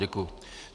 Děkuji.